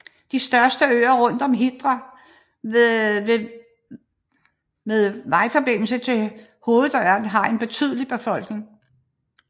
De største øer rundt om Hitra med vejforbindelse til hovedøen har en betydelig befolkning